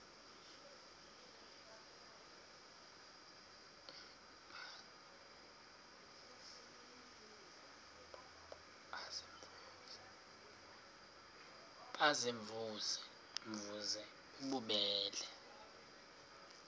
baziimvuze mvuze bububele